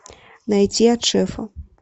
найти от шефа